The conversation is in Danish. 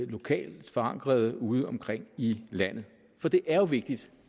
lokalt forankrede udeomkring i landet for det er jo vigtigt